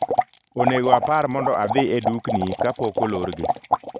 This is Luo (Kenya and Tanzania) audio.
Onego apar mondo adhi e dukni kapok olorgi